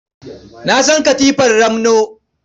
Na san katifar ramno.